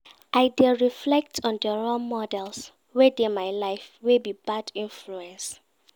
I dey reflect on di role models wey dey my life wey be bad influence.